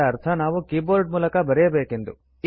ಇದರ ಅರ್ಥ ನಾವು ಕೀಬೋರ್ಡ್ ಮೂಲಕ ಬರೆಯಬೇಕು ಎಂದು